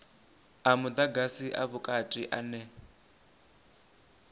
a mudagasi a vhukati ane